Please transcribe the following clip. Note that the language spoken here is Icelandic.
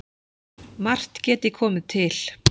Margt geti komið til